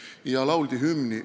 Seal lauldi ka hümni.